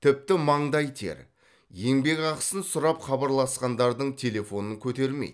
тіпті маңдай тер еңбекақысын сұрап хабарласқандардың телефонын көтермейді